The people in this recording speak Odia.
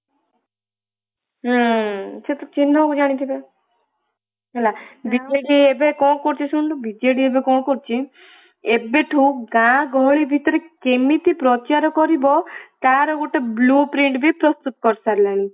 ହୁଁ ସେ ତ ଚିହ୍ନ କୁ ଜାଣିଥିବ ନା ବିଜେଡି ଏବେ କଣ କରୁଛି ଶୁଣନୁ ବିଜେଡି ଏବେ କଣ କରୁଛି ଏବେଠୁ ଗାଁ ଗହଳି ଭିତରେ କେମିତି ପ୍ରଚାର କରିବା ତାର ଗୋଟେ blueprint ବି ପ୍ରସ୍ତୁତ କରିସାରିଲାଣି।